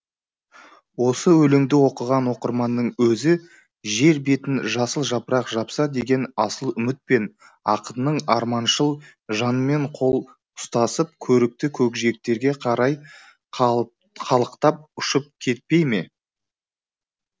осы өлеңді оқыған оқырманның өзі жер бетін жасыл жапырақ жапса деген асыл үмітпен ақынның арманшыл жанымен қол ұстасып көрікті көкжиектерге қарай қалықтап ұшып кетпей ме